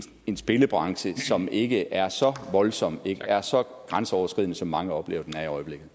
en spillebranche som ikke er så voldsom og ikke er så grænseoverskridende som mange oplever